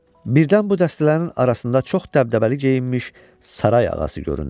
Birdən bu dəstələrin arasında çox dəbdəbəli geyinmiş saray ağası göründü.